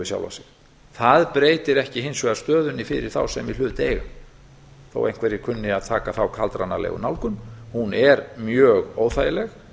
sjálfan sig það breytir ekki hins vegar stöðunni fyrir þá sem í hlut eiga þó einhverjir kunni að taka þá kaldranalegu nálgun hún er mjög óþægileg